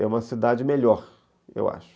É uma cidade melhor, eu acho.